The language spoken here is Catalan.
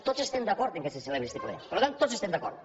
tots estem d’acord que se celebri este ple per tant tots hi estem d’acord